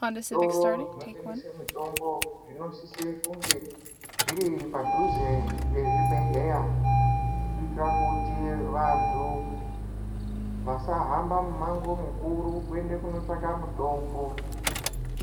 Zvitoro zvino tengese mitombo zvino sise kunge zviri padhuze nge zvibhedhleya kuitira kuti vantu vasa hamba mu mango mukuru kuende kuno tsvaka mutombo.